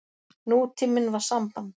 Nútíminn var samband.